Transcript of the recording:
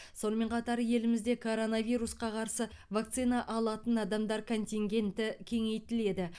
сонымен қатар елімізде коронавирусқа қарсы вакцина алатын адамдар контингенті кеңейтіледі